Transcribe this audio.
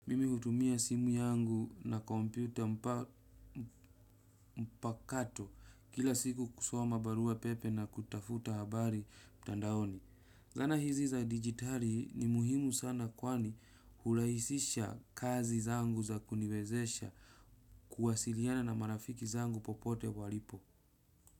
Mimi kutumia simu yangu na kompyuta mpakato kila siku kusoma barua pepe na kutafuta habari mtandaoni. Zana hizi za digitali ni muhimu sana kwani hurahisisha kazi zangu za kuniwezesha kuwasiliana na marafiki zangu popote walipo.